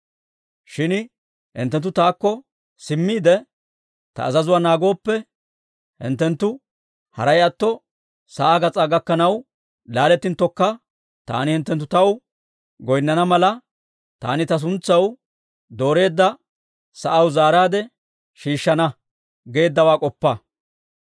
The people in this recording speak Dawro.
Shin hinttenttu taakko simmiide, ta azazuwaa naagooppe, hinttenttu haray atto sa'aa gas'aa gakkanaw laalettinttokka, taani hinttenttu taw goynnana mala, taani ta suntsaw dooreedda sa'aw zaaraadde shiishshana› geeddawaa k'oppa.